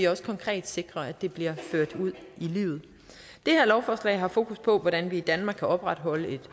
også konkret sikrer at det bliver ført ud i livet det her lovforslag har fokus på hvordan vi i danmark kan opretholde et